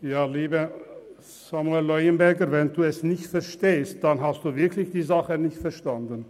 Samuel Leuenberger, wenn Sie das nicht verstehen, haben Sie wirklich die Sache nicht verstanden.